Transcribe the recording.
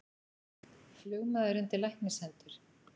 Flugmaður undir læknishendur